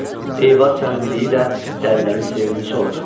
Eyvaz səmimiliyi ilə dəlilərin sevimlisi olur.